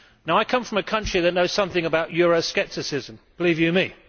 I come from a country that knows something about Euroscepticism, believe you me.